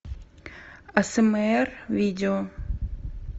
асмр видео